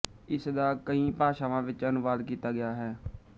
ਇਸ ਦਾ ਕਈਂ ਭਾਸ਼ਾਵਾਂ ਵਿੱਚ ਅਨੁਵਾਦ ਕੀਤਾ ਗਿਆ ਹੈ